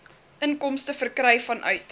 inkomste verkry vanuit